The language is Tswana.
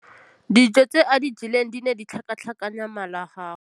Dijô tse a di jeleng di ne di tlhakatlhakanya mala a gagwe.